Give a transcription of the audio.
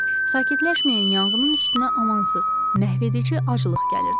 Sakitləşməyən yanğının üstünə amansız, məhvedici aclıq gəlirdi.